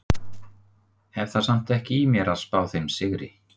Hef það samt ekki í mér að spá þeim sigri.